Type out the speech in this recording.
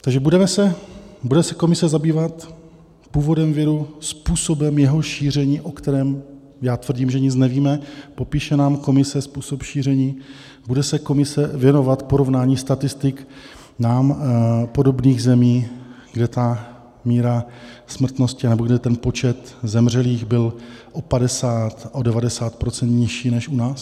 Takže bude se komise zabývat původem viru, způsobem jeho šíření, o kterém já tvrdím, že nic nevíme, popíše nám komise způsob šíření, bude se komise věnovat porovnání statistik nám podobných zemí, kde ta míra smrtnosti, nebo kde ten počet zemřelých byl o 50 %, o 90 % nižší než u nás?